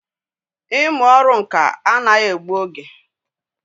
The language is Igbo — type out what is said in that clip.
Ị mụ ọrụ ǹkà anaghị egbụ oge